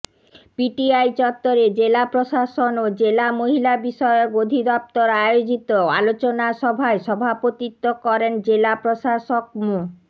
PTI চত্বরে জেলা প্রশাসন ও জেলা মহিলাবিষয়ক অধিদপ্তর আয়োজিত আলোচনাসভায় সভাপতিত্ব করেন জেলা প্রশাসক মো